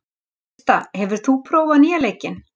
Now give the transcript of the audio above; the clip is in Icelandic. Krista, hefur þú prófað nýja leikinn?